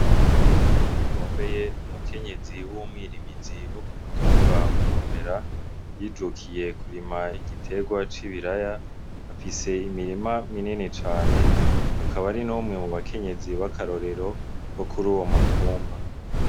Nahigombeye, ni umukenyezi w'umwirimizi wo ku mutumba Mugomera, yijukiye kurima igiterwa c'ibiraya. Afise imirima minini cane, akaba ari n'umwe mu bakenyezi b'akarorero bo kuri uwo mutumba.